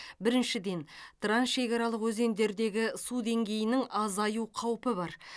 біріншіден трансшекаралық өзендердегі су деңгейінің азаю қаупі бар